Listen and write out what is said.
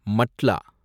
மட்லா